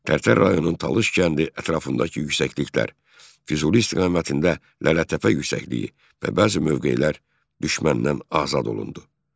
Tərtər rayonunun Talış kəndi ətrafındakı yüksəkliklər, Füzuli istiqamətində Lələtəpə yüksəkliyi və bəzi mövqelər düşməndən azad olundu.